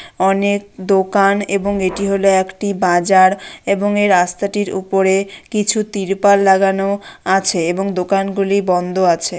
অনেক দোকান এবং এটি হল একটি বাজার এবং এ রাস্তাটির উপরে কিছু তিরপাল লাগানো আছে এবং দোকান গুলি বন্ধ আছে।